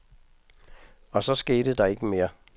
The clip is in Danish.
Og så skete der ikke mere.